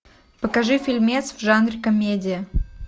покажи фильмец в жанре комедия